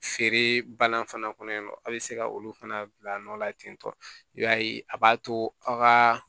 Feere banna fana kɔnɔ in nɔ a bɛ se ka olu fana bila nɔ la ten tɔ i b'a ye a b'a to aw ka